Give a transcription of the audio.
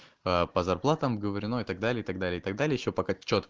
по зарплатам говорю но и так далее так далее так далее ещё пока